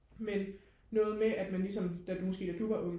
men noget med at man lige som der måske da du var ung